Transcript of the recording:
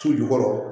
Su jukɔrɔ